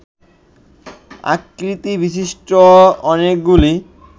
আকৃতিবিশিষ্ট অনেকগুলি